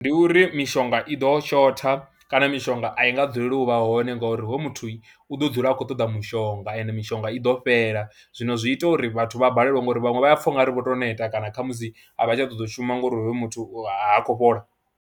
Ndi uri mishonga i ḓo shotha kana mishonga a i nga dzuleli u vha hone ngori hoyo muthu u ḓo dzula a kho ṱoḓa mushonga ende mishonga i ḓo fhela, zwino zwi ita uri vhathu vha balelwe ngori vhaṅwe vha ya pfha u nga ri vho tou neta kana kha musi a vha tsha ṱoḓa u shuma ngauri hoyu muthu ha khou fhola.